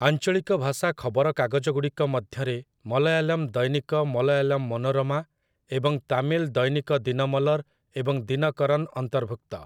ଆଞ୍ଚଳିକ ଭାଷା ଖବରକାଗଜଗୁଡ଼ିକ ମଧ୍ୟରେ ମଲ୍ୟାଲମ୍ ଦୈନିକ ମଲ୍ୟାଲମ୍ ମନୋରାମା ଏବଂ ତାମିଲ୍ ଦୈନିକ ଦିନମଲର୍ ଏବଂ ଦିନକରନ୍ ଅନ୍ତର୍ଭୁକ୍ତ ।